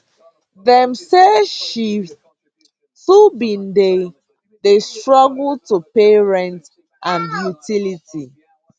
dem say she too bin dey dey struggle to pay rent and utility